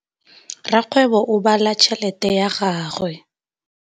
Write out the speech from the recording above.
Rakgwêbô o bala tšheletê ya gagwe.